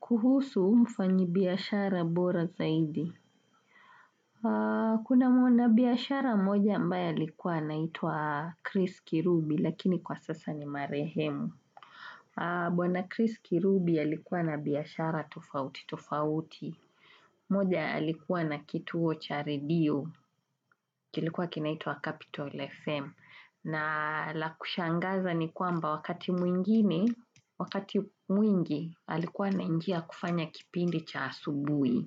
Kuhusu mfanyibiashara bora zaidi. Kuna mwana biashara moja ambaye alikuwa naitwa Chris Kirubi lakini kwa sasa ni marehemu. Bwana Chris Kirubi alikuwa na biashara tofauti tofauti. Moja alikuwa na kituo cha redio. Kilikuwa kinaitwa Capitol FM. Na la kushangaza ni kwamba wakati mwingi, alikuwa anaingia kufanya kipindi cha asubuhi.